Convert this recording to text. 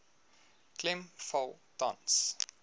klem val tans